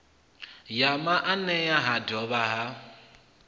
ya maanea ha dovha ha